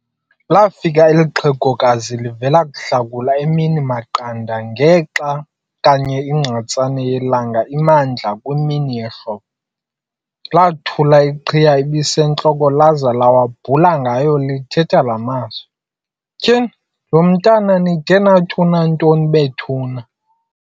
Lafika eli xhegokazi livela kuhlakula emini emaqanda ngexa kanye igqatsane yelanga imandla kwimini yehlobo. Lathula iqhiya ebisentloko laza lawabhula ngayo lithetha laa mazwi, "Tyhu! lo mntwana nide nathi unantoni bethuni?